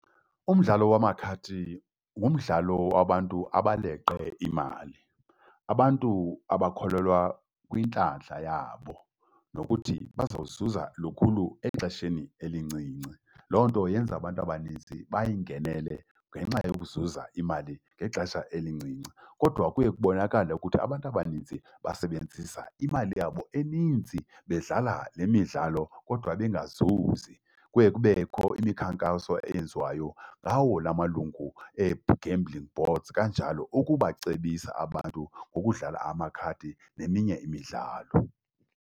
Umdlalo wamakhadi ngumdlalo wabantu abaleqe imali, abantu abakholelwa kwintlantla yabo, nokuthi bazozuza lukhulu exesheni elincinci. Loo nto yenza abantu abanintsi bayingenele ngenxa yokuzuza imali ngexesha elincinci. Kodwa kuye kubonakale ukuthi abantu abaninzi basebenzisa imali yabo eninzi bedlala lemidlalo kodwa bengazuzi. Kuye kubekho imikhankaso eyenziwayo ngawo lamalungu ee-gambling boards kanjalo ukubacebisa abantu ukudlala amakhadi neminye imidlalo.